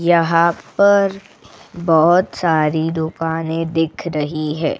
यहां पर बहुत सारी दुकानें दिख रही है.